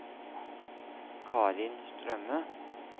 Karin Strømme